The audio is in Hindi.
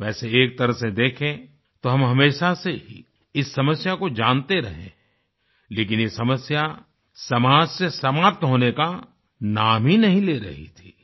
वैसे एक तरह से देखें तो हम हमेशा से ही इस समस्या को जानते रहें हैं लेकिन ये समस्या समाज से समाप्त होने का नाम ही नहीं ले रही थी